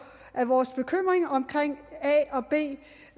at vores bekymringer om